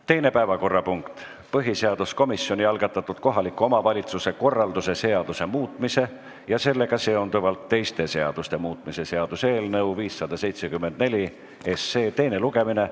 Teine päevakorrapunkt: põhiseaduskomisjoni algatatud kohaliku omavalitsuse korralduse seaduse muutmise ja sellega seonduvalt teiste seaduste muutmise seaduse eelnõu 574 teine lugemine.